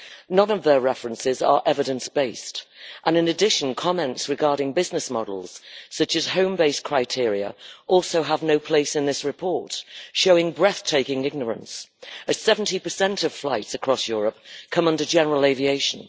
None of their references are evidence based and, in addition, comments regarding business models, such as home base' criteria, also have no place in this report, showing breathtaking ignorance, as 70 of flights across Europe come under general aviation.